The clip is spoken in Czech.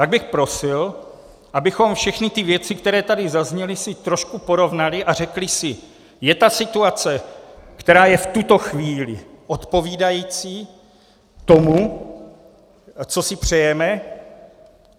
Tak bych prosil, abychom všechny ty věci, které tady zazněly, si trošku porovnali a řekli si: je ta situace, která je v tuto chvíli, odpovídající tomu, co si přejeme?